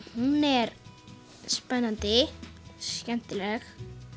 hún er spennandi skemmtileg